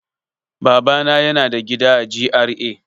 Babana yana da gida a G.R.A.